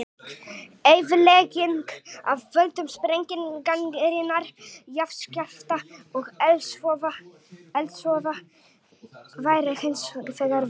Eyðilegging af völdum sprengingarinnar, jarðskjálfta og eldsvoða væri hins vegar mikil.